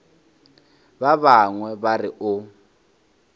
ba bangwe ba re o